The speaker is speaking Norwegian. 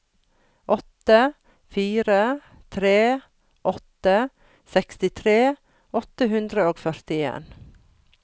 åtte fire tre åtte sekstitre åtte hundre og førtien